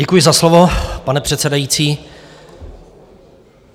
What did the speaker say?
Děkuji za slovo, pane předsedající.